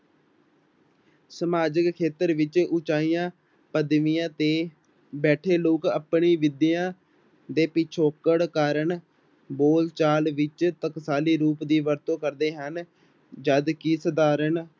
ਸਮਾਜਕ ਖੇਤਰ ਵਿੱਚ ਉੱਚੀਆਂ ਪਦਵੀਆਂ ਤੇ ਬੈਠੇ ਲੋਕ ਆਪਣੀ ਵਿਦਿਆ ਦੇ ਪਿੱਛੋਕੜ ਕਾਰਨ ਬੋਲਚਾਲ ਵਿੱਚ ਟਕਸਾਲੀ ਰੂਪ ਦੀ ਵਰਤੋਂ ਕਰਦੇ ਹਨ, ਜਦ ਕਿ ਸਾਧਾਰਨ